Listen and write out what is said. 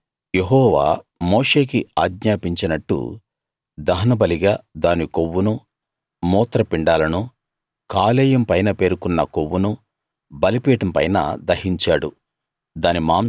అయితే యెహోవా మోషేకి ఆజ్ఞాపించినట్టు దహనబలిగా దాని కొవ్వునూ మూత్రపిండాలనూ కాలేయం పైన పేరుకున్న కొవ్వునూ బలిపీఠం పైన దహించాడు